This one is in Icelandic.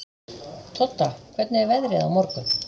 Todda, hvernig er veðrið á morgun?